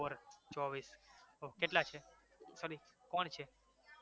four ચોવીસ કેટલા છે? sorry કોણ છે